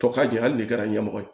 To ka ja ali ne kɛra ɲɛmɔgɔ ye